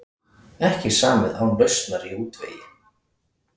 Ekki samið án lausnar í útvegi